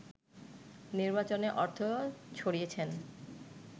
নির্বাচনে অর্থ ছড়িয়েছেন